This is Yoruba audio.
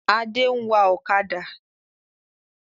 Adé ń wá ọ̀kadà